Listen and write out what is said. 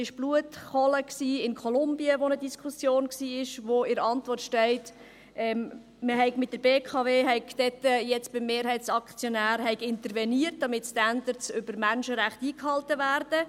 Die «Blutkohle» in Kolumbien war eine Diskussion, worüber in der Antwort steht, die BKW habe dort jetzt beim Mehrheitsaktionär interveniert, damit die Standards betreffend die Menschenrechte eingehalten werden.